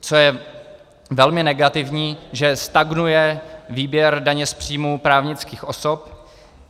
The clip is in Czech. Co je velmi negativní, že stagnuje výběr daně z příjmu právnických osob.